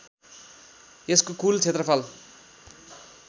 यसको कुल क्षेत्रफल